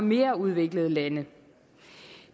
mere udviklede lande